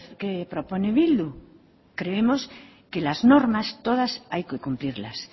que propone bildu creemos que las normas todas hay que cumplirlas